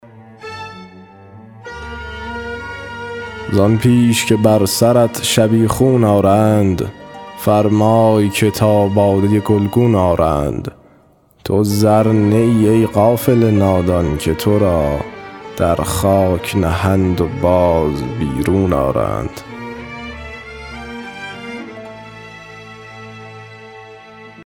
زآن پیش که بر سرت شبیخون آرند فرمای که تا باده گلگون آرند تو زر نه ای ای غافل نادان که تو را در خاک نهند و باز بیرون آرند